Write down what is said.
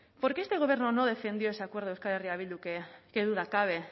por qué este gobierno no defendió ese acuerdo de euskal herria bildu que qué duda cabe